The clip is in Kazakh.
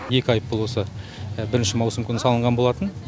екі айыппұл осы бірінші маусым күні салынған болатын